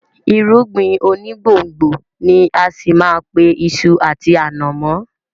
Irúgbìn onígbòǹgbò ni á ṣì má a pe iṣu àti ànàmọ́